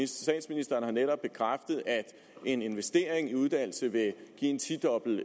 statsministeren har netop bekræftet at investering i uddannelse vil give en tidobbelt